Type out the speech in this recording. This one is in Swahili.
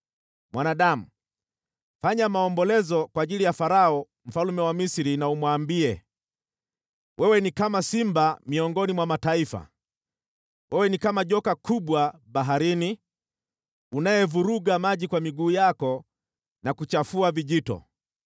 “Mwanadamu, fanya maombolezo kwa ajili ya Farao mfalme wa Misri na umwambie: “ ‘Wewe ni kama simba miongoni mwa mataifa, wewe ni kama joka kubwa baharini, unayevuruga maji kwa miguu yako na kuchafua vijito.